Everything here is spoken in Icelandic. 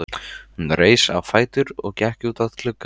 Hún reis á fætur og gekk út að glugga.